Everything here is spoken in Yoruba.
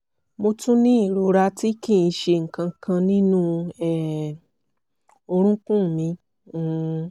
mo tún ní ìrora tí kì í ṣe nǹkan kan nínú um orúnkún mi um